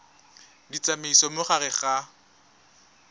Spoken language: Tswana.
di tsamaisa mo gare ga